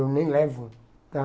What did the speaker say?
Eu nem levo.